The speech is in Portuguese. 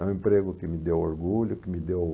É um emprego que me deu orgulho, que me deu...